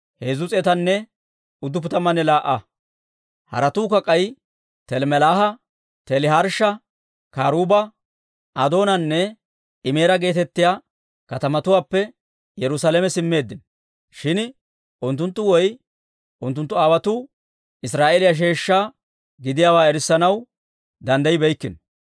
Haratuukka k'ay, Telmmelaaha, Teliharshsha, Karuuba, Adoonanne Imeera geetettiyaa katamatuwaappe Yerusaalame simmeeddino. Shin unttunttu woy unttunttu aawotuu Israa'eeliyaa sheeshsha gidiyaawaa erissanaw danddayibeykkino.